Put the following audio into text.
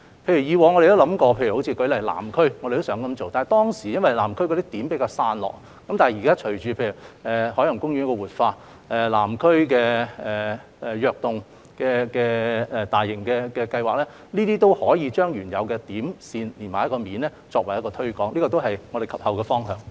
譬如以往我們曾考慮在南區循此方向去做，但當時因為南區的"點"比較散落，但現時隨着海洋公園的活化、"躍動港島南"大型計劃的推行，我們可以把原有的"點"、"線"連成一個"面"來推廣，這也是我們及後的方向。